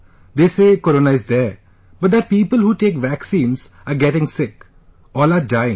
They say Corona is there, but that people who take vaccines are getting sick...all are dying